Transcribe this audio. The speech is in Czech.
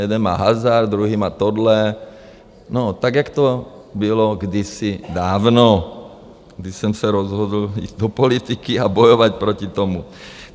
Jeden má hazard, druhý má tohle, no, tak jak to bylo kdysi dávno, když jsem se rozhodl jít do politiky a bojovat proti tomu.